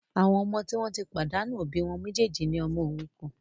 Àwọn ọmọ tí wọn tí pàdánù òbí wọn méjèjì ní ọmọ òrukàn